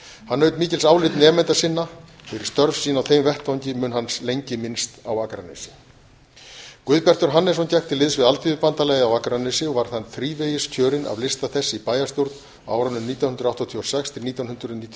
hann naut mikils álits nemenda sinna fyrir störf sín á þeim vettvangi mun hans lengi minnst á akranesi guðbjartur hannesson gekk til liðs við alþýðubandalagið á akranesi og var hann þrívegis kjörinn af lista þess í bæjarstjórn á árunum nítján hundruð áttatíu og sex til nítján hundruð níutíu og